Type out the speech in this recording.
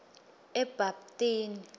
ebapthini